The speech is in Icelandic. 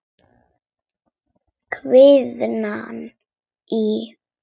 Kviknað í.